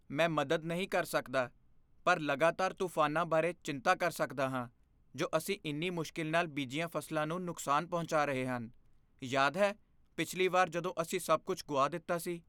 ਮੈਂ ਮਦਦ ਨਹੀਂ ਕਰ ਸਕਦਾ ਪਰ ਲਗਾਤਾਰ ਤੂਫਾਨਾਂ ਬਾਰੇ ਚਿੰਤਾ ਕਰ ਸਕਦਾ ਹਾਂ ਜੋ ਅਸੀਂ ਇੰਨੀ ਮੁਸ਼ਕਿਲ ਨਾਲ ਬੀਜੀਆਂ ਫ਼ਸਲਾਂ ਨੂੰ ਨੁਕਸਾਨ ਪਹੁੰਚਾ ਰਹੇ ਹਨ। ਯਾਦ ਹੈ ਪਿਛਲੀ ਵਾਰ ਜਦੋਂ ਅਸੀਂ ਸਭ ਕੁੱਝ ਗੁਆ ਦਿੱਤਾ ਸੀ?